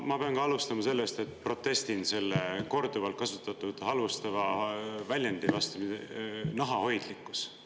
Ma pean alustama sellest, et protestin selle korduvalt kasutatud halvustava väljendi vastu, "nahahoidlikkus".